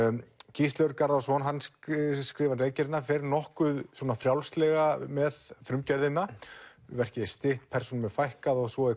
Gísli Örn Garðarsson skrifar fer nokkuð frjálslega með frumgerðina verkið er stytt persónum fækkað og svo er